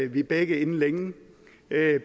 vi begge inden længe